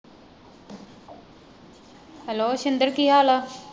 Hello Shinder ਕੀ ਹਾਲ ਆ?